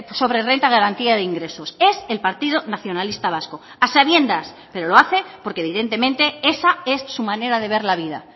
sobre renta de garantía de ingresos es el partido nacionalista vasco a sabiendas pero lo hace porque evidentemente esa es su manera de ver la vida